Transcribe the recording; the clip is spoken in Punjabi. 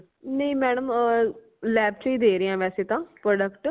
ਨਈ madam lab ਚੋ ਹੀ ਦੇ ਰਏ ਹਾਂ ਵੈਸੇ ਤਾਂ product